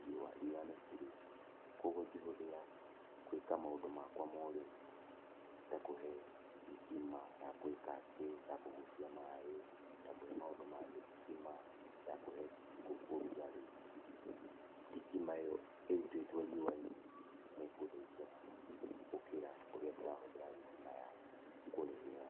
riũa, riũa nĩ burĩ. Kũoguo ingehũthĩra gwĩka maũndũ makwa ma ũrĩmi ta kũhe thitima ya gwĩka atĩ, ya kũgucia maaĩ ta kũhe maũndũ mangĩ, thitima ya kũhe ngũkũ ũrugarĩ, thitima ĩyo ĩrũtiitwo riũa-inĩ nĩ ĩkũndeithia mũno gũkĩra ũrĩa ndĩrahũthĩra thitima ya kũrĩhĩra.